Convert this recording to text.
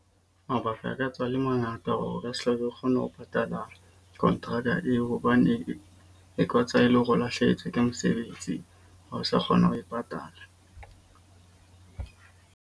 Mabaka aka tswa a le mangata hore re tle re kgone ho patala kontraka eo. Hobane e katswa e le hore o lahlehetswe ke mesebetsi ha o sa kgona ho e patala.